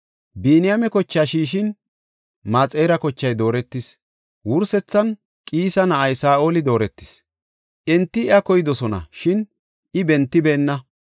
Biniyaame kochaa shiishin, Maxira kochay dooretis. Wursethan Qiisa na7ay Saa7oli dooretis; enti iya koydosona, shin I bentibeenna.